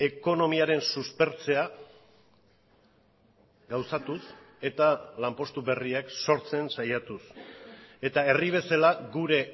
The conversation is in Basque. ekonomiaren suspertzea gauzatuz eta lanpostu berriak sortzen saiatuz eta herri bezala gure